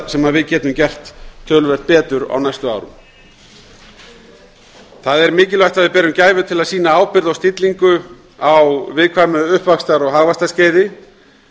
sem við getum gert töluvert betur á næstu árum það er mikilvægt að við berum gæfu til að sýna ábyrgð og stillingu á viðkvæmu uppvaxtar og hagvaxtarskeiði